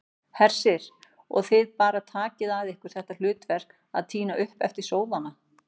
Hersir: Og þið bara takið að ykkur þetta hlutverk að tína upp eftir sóðana?